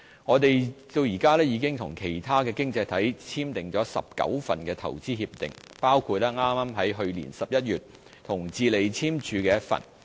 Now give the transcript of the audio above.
我們至今已與其他經濟體簽訂19份投資協定，包括剛在去年11月與智利簽署的一份。